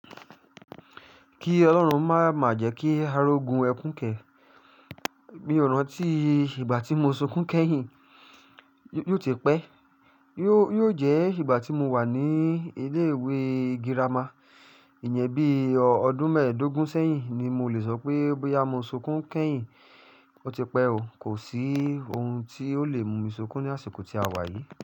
Ki Ọlọ́run má má jẹ́ kí arogún ẹkún kẹ́, mi ò rántí ìgbà tí mo sunkún kẹ́yìn, yóò ti pẹ́. Yóò jẹ́ ìgbà tí mo wà ní ilé ìwé girama. Ìyẹn bí ọdún mẹ́ẹ̀dógún sẹ́yìn ni mo lè sọ pé bóyá mo sunkún kẹ́yìn, ó ti pẹ́ o. Kò sí ohun tí ó lè mú mi sunkún ní àsìkò tí a wà yìí.